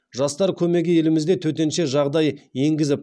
жастар көмегі елімізде төтенше жағдай енгізіліп